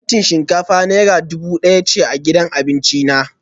Farantin shinkafa naira dubu daya ce gidan abinci na